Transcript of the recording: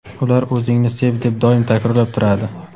ular o‘zingni sev deb doim takrorlab turadi.